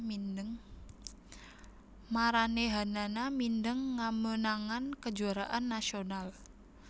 Maranéhanana mindeng ngameunangan kejuaraan nasional